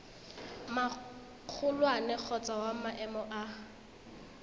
magolwane kgotsa wa maemo a